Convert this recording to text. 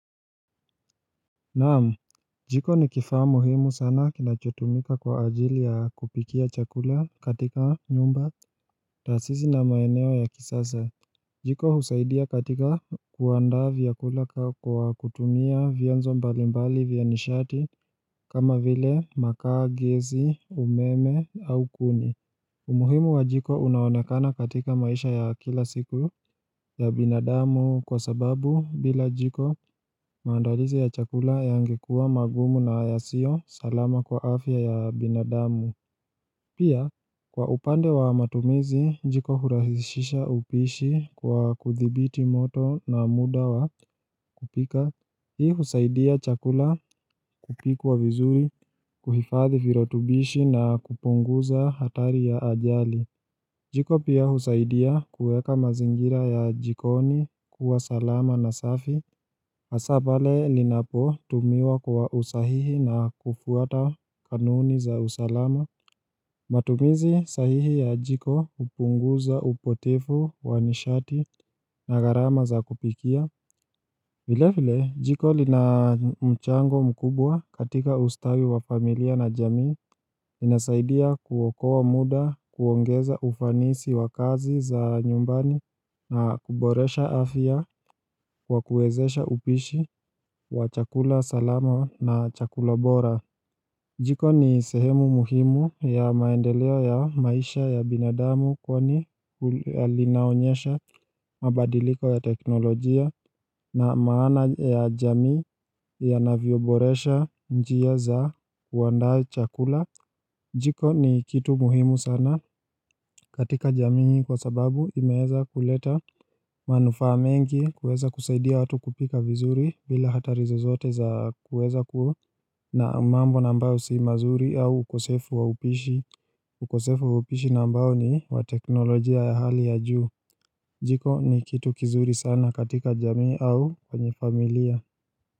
Naam, jiko ni kifaa muhimu sana kinachotumika kwa ajili ya kupikia chakula katika nyumba, taasisi na maeneo ya kisasa. Jiko husaidia katika kuanda vyakula kwa kutumia vienzo mbalimbali vya nishati kama vile makaa, gesi, umeme au kuni. Umuhimu wa jiko unaonekana katika maisha ya kila siku ya binadamu kwa sababu bila jiko maandalizi ya chakula yangekuwa magumu na yasio salama kwa afya ya binadamu. Pia, kwa upande wa matumizi, jiko hurahisisha upishi kwa kuthibiti moto na muda wa kupika. Hii husaidia chakula kupikwa vizuri, kuhifadhi virutubishi na kupunguza hatari ya ajali. Jiko pia husaidia kuweka mazingira ya jikoni kuwa salama na safi hasa pale linapotumiwa kwa usahihi na kufuata kanuni za usalama matumizi sahihi ya jiko hupunguza upotevu wa nishati na gharama za kupikia vile vile jiko lina mchango mkubwa katika ustawi wa familia na jamii inasaidia kuokoa muda kuongeza ufanisi wa kazi za nyumbani na kuboresha afya kwa kuwezesha upishi wa chakula salama na chakula bora Jiko ni sehemu muhimu ya maendeleo ya maisha ya binadamu kwani linaonyesha mabadiliko ya teknolojia na maana ya jamii yanavyoboresha njia za kuanda chakula Jiko ni kitu muhimu sana katika jamii kwa sababu imeeza kuleta manufaa mengi kuweza kusaidia watu kupika vizuri bila hatari zozote za kuweza kuwa na mambo na ambao si mazuri au ukosefu wa upishi ukosefu wa upishi na ambao ni wa teknolojia ya hali ya juu Jiko ni kitu kizuri sana katika jamii au kwenye familia.